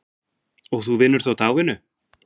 Og þú vinnur þá dagvinnu?